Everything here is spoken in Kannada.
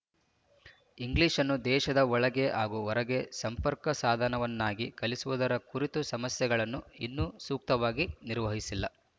ಇಂಗ್ಲೀಷನ್ನು ದೇಶದ ಒಳಗೆ ಹಾಗೂ ಹೊರಗೆ ಸಂಪರ್ಕ ಸಾಧನವನ್ನಾಗಿ ಕಲಿಸುವುದರ ಕುರಿತ ಸಮಸ್ಯೆಗಳನ್ನು ಇನ್ನೂ ಸೂಕ್ತವಾಗಿ ನಿರ್ವಹಿಸಿಲ್ಲ